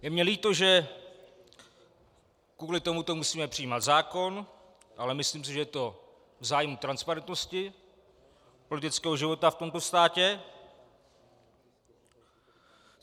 Je mi líto, že kvůli tomuto musíme přijímat zákon, ale myslím si, že je to v zájmu transparentnosti politického života v tomto státě.